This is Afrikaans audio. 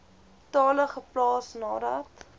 tale geplaas nadat